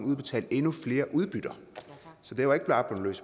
udbetalt endnu flere udbytter så det var ikke bare blevet